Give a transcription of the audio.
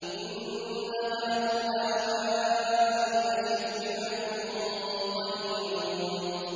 إِنَّ هَٰؤُلَاءِ لَشِرْذِمَةٌ قَلِيلُونَ